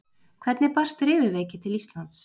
Hvernig barst riðuveiki til Íslands?